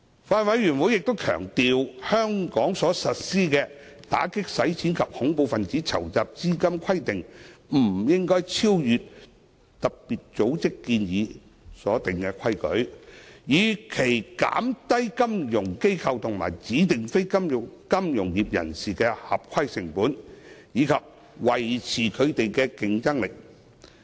法案委員會強調，香港所實施的打擊洗錢及恐怖分子資金籌集規定不應超越特別組織建議所訂的規定，以期減低金融機構及指定非金融業人士的合規成本，以及維持他們的競爭力。